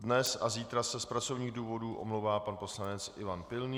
dnes a zítra se z pracovních důvodů omlouvá pan poslanec Ivan Pilný.